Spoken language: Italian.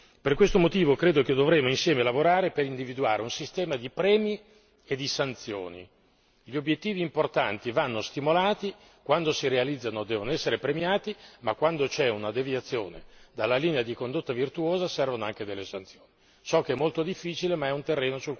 Per questo motivo, credo che dovremo insieme lavorare, per individuare un sistema di premi e di sanzioni gli obiettivi importanti vanno stimolati, quando si realizzano devono essere premiati, ma quando c'è una deviazione dalla linea di condotta virtuosa servono anche delle sanzioni. So che è molto difficile, ma è un terreno sul quale il Parlamento e la Commissione si dovranno misurare.